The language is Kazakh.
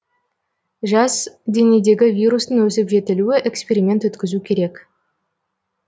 жас денедегі вирустың өсіп жетілуі эксперимент өткізу керек